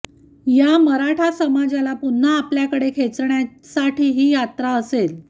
या मराठा समाजाला पुन्हा आपल्याकडे खेचण्यासाठी ही यात्रा असेल